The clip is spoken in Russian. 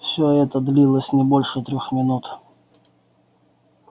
все это длилось не больше трёх минут